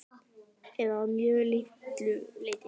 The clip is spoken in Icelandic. Eða að mjög litlu leyti.